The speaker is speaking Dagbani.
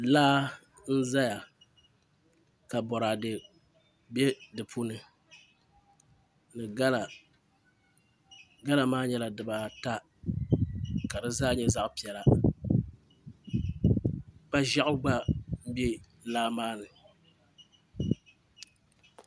Laa n ʒɛya ka boraadɛ bɛ di puuni ni gala gala maa nyɛla dibaata ka di zaa nyɛ zaɣ piɛla kpa ʒiɛɣu gba bɛ laa maa ni